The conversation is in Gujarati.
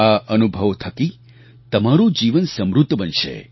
આ અનુભવો થકી તમારું જીવન સમૃદ્ધ બનશે